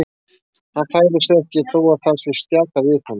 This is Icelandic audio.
Hann færir sig ekki þó að það sé stjakað við honum.